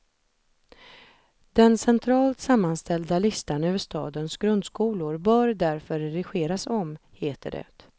Den centralt sammanställda listan över stadens grundskolor bör därför redigeras om, heter det.